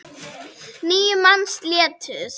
Níu manns létust.